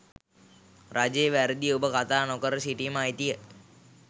රජයේ වැරදි ඔබ කතා නොකර සිටීමේ අයිතිය